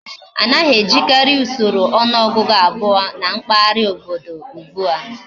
Anaghi ejikari Usoro onuogugu abuo na mpaghara obodo ugbua